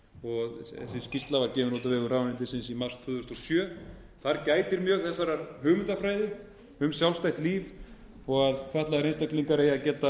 skýrsla var gefin út á vegum ráðuneytisins í mars tvö þúsund og sjö þar gætir mjög þessarar hugmyndafræði um sjálfstætt líf þó að fatlaðir einstaklingar eigi að geta tekið